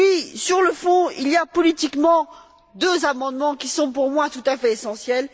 Et puis, sur le fond, il y a politiquement deux amendements qui sont pour moi tout à fait essentiels.